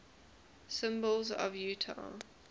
symbols of utah